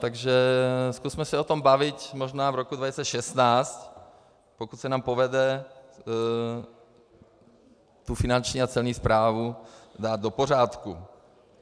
Takže zkusme se o tom bavit možná v roce 2016, pokud se nám povede tu finanční a celní správu dát do pořádku.